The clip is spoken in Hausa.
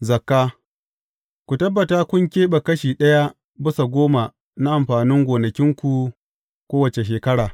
Zakka Ku tabbata kun keɓe kashi ɗaya bisa goma na amfanin gonakinku kowace shekara.